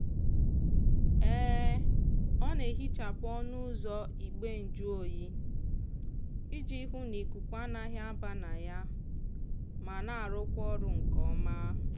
ọ na-ehichapụ ọnụ ụzọ igbe njụoyi iji hụ na ikuku anaghị aba na ya ma na-arụkwa ọrụ nke ọma.